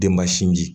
Denba sinji